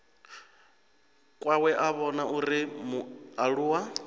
kwawe a vhona uri mualuwa